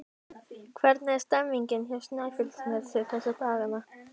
Hvernig er stemmningin hjá Snæfelli þessa dagana?